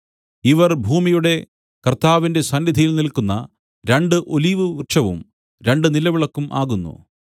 ഇവർ ഭൂമിയുടെ കർത്താവിന്റെ സന്നിധിയിൽ നില്ക്കുന്ന രണ്ടു ഒലിവുവൃക്ഷവും രണ്ടു നിലവിളക്കും ആകുന്നു